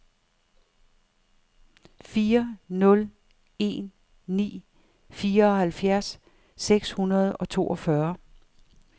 fire nul en ni fireoghalvfjerds seks hundrede og toogfyrre